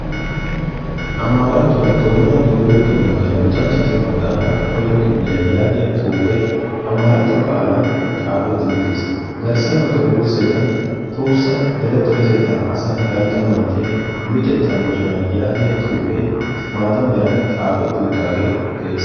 Amaarattuwaa doonaa dooyiyoo doonadan luxanchchatu maxaafan koyro kifiliyaa yaagiyaa xuufee amaaratto qaalan xaafetti uttiis. garssa bagga wursettan tohossa dere dere asaa dalgga manttiyaa luxettaa moconaa yaagiyaa xuufee maata meran xaafetti uttage de'ees.